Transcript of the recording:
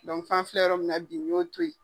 fɔ an filɛ yɔrɔ min na bi u y'o toyi.